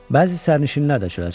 Bəzi sərnişinlər də çölə çıxmışdılar.